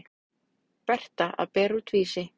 Berta að bera út Vísi.